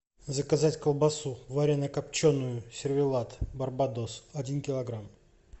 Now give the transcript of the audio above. заказать колбасу варено копченую сервелат барбадос один килограмм